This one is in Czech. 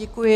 Děkuji.